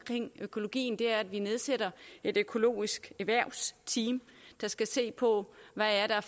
til økologien er at vi nedsætter et økologisk erhvervsteam der skal se på hvad der er